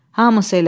Hamısı elədi.